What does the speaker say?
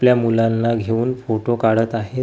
आपल्या मुलांना घेऊन फोटो काढत आहेत.